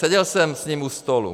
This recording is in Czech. Seděl jsem s ním u stolu.